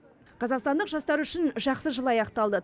қазақстандық жастар үшін жақсы жыл аяқталды